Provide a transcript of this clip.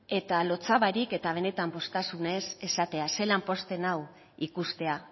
eta lotsa barik eta benetan poztasunez esatea zelan pozten nau ikustea